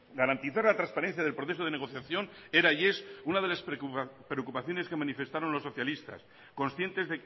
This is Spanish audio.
garantizar la transparencia del proceso de negociación era y es una de las preocupaciones que manifestaron los socialistas conscientes